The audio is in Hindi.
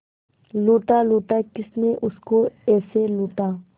लूटा लूटा किसने उसको ऐसे लूटा